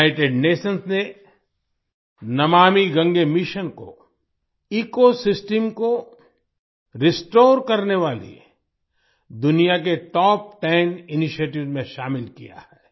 United Nations ने Namami Gange mission को ecosystem को रिस्टोर करने वाले दुनिया के टॉप टेन इनिशिएटिव्स में शामिल किया है